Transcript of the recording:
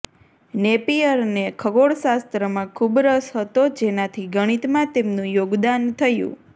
નેપિઅરને ખગોળશાસ્ત્રમાં ખૂબ રસ હતો જેનાથી ગણિતમાં તેમનું યોગદાન થયું